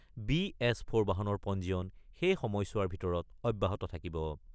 B এছ-ফ'ৰ বাহনৰ পঞ্জীয়ন সেই সময়ছোৱাৰ ভিতৰত অব্যাহত থাকিব।